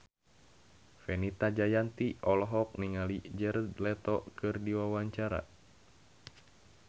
Fenita Jayanti olohok ningali Jared Leto keur diwawancara